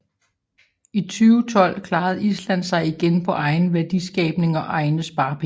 I 2012 klarede Island sig igen på egen værdiskabning og egne sparepenge